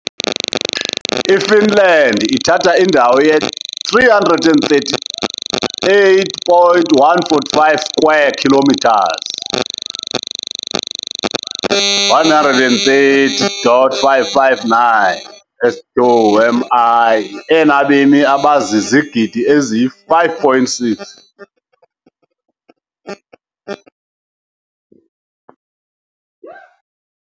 IFinland ithatha indawo ye-338,145 square kilometers, 130,559 sq mi, enabemi abazizigidi ezi-5.6.